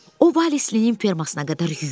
O Vali-nin fermasına qədər yüyürdü.